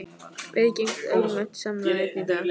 Viðgengst ólögmætt samráð enn í dag?